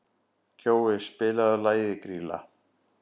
Kjói, spilaðu lagið „Grýla“.